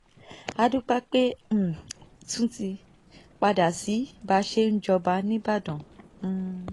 a dúpẹ́ pé a um tún ti padà sí báa ṣe ń jọba níbàdàn um